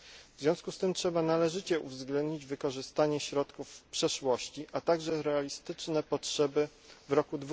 W związku z tym trzeba należycie uwzględnić wykorzystanie środków w przeszłości, a także realistyczne potrzeby w roku